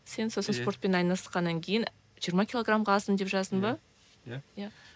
сен сосын спортпен айналысқаннан кейін жиырма килограмға аздым деп жаздың ба иә иә